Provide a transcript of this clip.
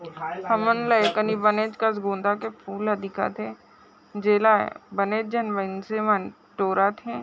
हमन ला एकनि बनेचकस गोंदा कॆ फूल ह दिखत है जेला बने जन मनसे मन टोरत है।